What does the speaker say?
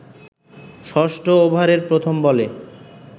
ষষ্ঠ ওভারের প্রথম বলে